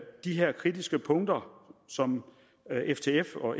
de her kritiske punkter som ftf og